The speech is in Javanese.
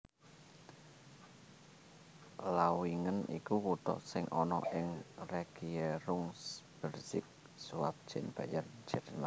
Lauingen iku kutha sing ana ing Regierungsbezirk Schwaben Bayern Jerman